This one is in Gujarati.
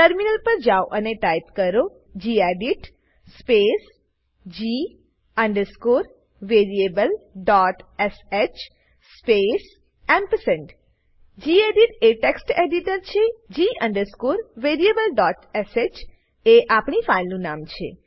ટર્મિનલ પર જાઓ અને ટાઈપ કરો gedit space g variablesh space ampersand gedit એ ટેક્સ્ટ એડિટર છે g variableશ એ આપણી ફાઈલનું નામ છે